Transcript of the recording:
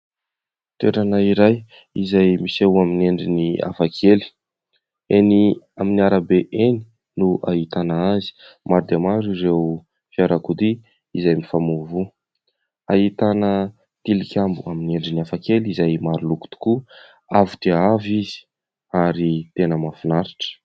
Toerana iray izay miseho amin'ny endriny hafakely. Eny amin'ny arabe no ahitana azy. Maro dia maro ireo fiarakodia izay mifamoivoy. Ahitana tilikambo amin'ny endriny hafakely izay maro loko tokoa. Avo dia avo izy ary tena mahafinaritra.